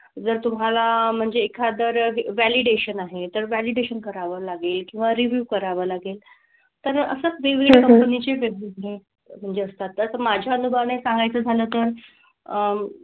जर तुम्हाला म्हणजे एखादं validation आहे तर validation करावं लागेल किंवा review करावं लागेल. तर असंच वेगवेगळ्या company ची वेगवेगळे म्हणजे असतात ना, तर माझ्या अनुभवाने सांगायचं झालं तर, अह